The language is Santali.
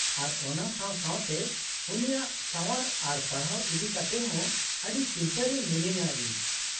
-ᱟᱨ ᱚᱱᱟ ᱥᱟᱶ ᱥᱟᱶᱛᱮ ᱩᱱᱤᱭᱟᱜ ᱥᱟᱶᱟᱨ ᱟᱨ ᱯᱟᱲᱦᱟᱣ ᱤᱫᱤ ᱠᱟᱛᱮᱫ ᱦᱚᱸ ᱟᱹᱰᱤ ᱪᱤᱱᱛᱟᱹ ᱨᱮ ᱢᱤᱱᱟᱹᱧᱼᱟ ᱤᱧ ᱾